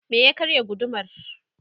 me ya karya gudumar?